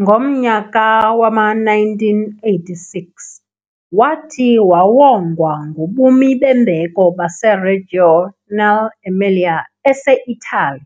Ngomnyaka wama-1986 wathi wawongwa ngobumi bembeko baseReggio nell'Emilia eseItaly,